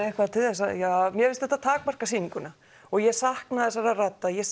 eitthvað til þess mér finnst þetta takmarka sýninguna og ég sakna þessara radda ég